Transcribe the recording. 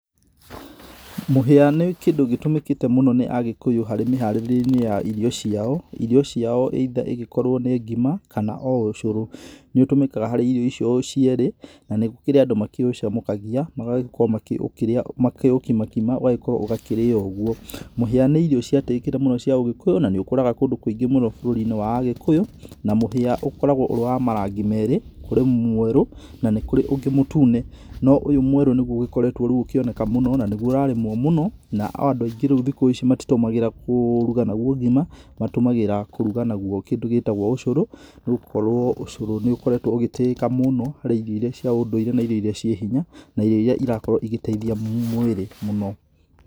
Mũhĩa nĩ kĩndũ gĩtumĩkĩte mũno nĩ Agĩkũyũ harĩ mĩharĩrĩe ya irio ciao, irio ciao [cs either ĩgĩkorwo nĩ ngima kana ũcũrũ. Nĩ ũtũmĩkaga harĩ irio icio cierĩ, na nĩ gũkĩrĩ andũ maũcamũkagia magagĩkorwo ma kĩ ũkimakima ũgakĩrĩyo ũguo. Mũhĩa nĩ irio ciatĩĩkire mũno cĩa ũgĩkũyũ na nĩũkũraga kũndũ kũingi mũno bũrũri-inĩ wa agĩkũyũ na mũhĩa ũkoragwo ũrĩ wa marangi meri, kũrĩ mwerũ na nĩ kũrĩ ũngĩ mũtune, no ũyũ mwerũ niguo ũkoretwo rĩu ũkĩoneka mũno na nĩguo ũrarĩmwo mũno, nao andũ aingĩ rĩu thikũ ici matitũmagĩra kũũruga naguo ngima, matũmagĩra kũruga naguo kĩndũ gĩtagwo ũcũrũ nĩ gũkorwo ũcũrũ nĩ ũkoretwo ũgĩtĩĩka mũno harĩ irio iria cia ũndũire na irio iria cirĩ hinya, na irio iria cirakorwo cigĩteithia mwiri mũno.